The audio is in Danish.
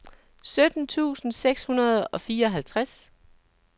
sytten tusind seks hundrede og fireoghalvtreds